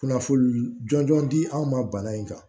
Kunnafoni jɔnjɔn di anw ma bana in kan